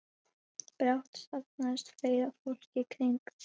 Brátt safnast fleira fólk í kring.